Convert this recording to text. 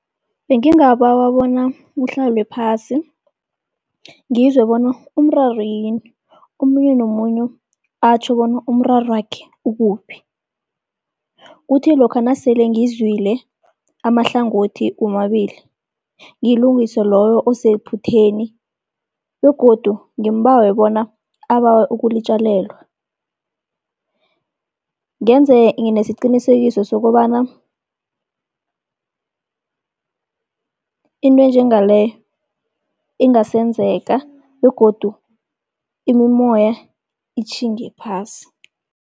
Bengingabawa bona kuhlalwe phasi ngizwe bona umraro yini, omunye nomunye atjho bona umrarwakhe ukuphi. Kuthi lokha nasele ngizwile amahlangothi womabili ngilungise loyo osephutheni, begodu ngimbawe bona abawe ukulitjalelwa. Ngenze nesiqikisekiso sokobana into enjengaleyo ingasenzeka begodu imimoya itjhinge phasi.